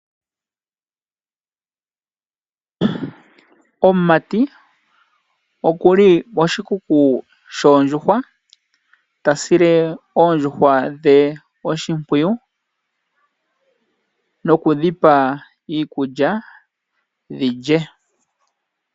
Omumati oku li poshikuku shoondjuhwa ta sile oondjuhwa dhe oshimpwiyu noku dhi pa iikulya dhi lye.